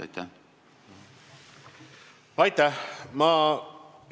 Aitäh!